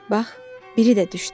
Bax, biri də düşdü.